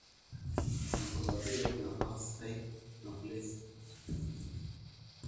aikes eton eitu etoyu naa aitayu mbenek o nkwashen olkokoyok naaji peyie eikesi too nkolongi uni mpaka onguan